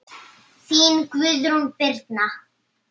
Þín, Guðrún Birna.